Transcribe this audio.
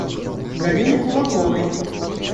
галине кулаковой